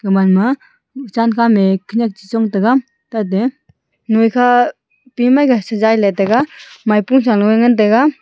man ma cham khan ne khenyak chichong tega tate noikha pe mai le sajai tega maipo cha le wai ngan tega.